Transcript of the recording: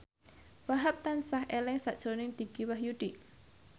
Wahhab tansah eling sakjroning Dicky Wahyudi